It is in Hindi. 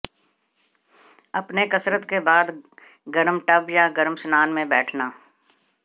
अपने कसरत के बाद गर्म टब या गर्म स्नान में बैठना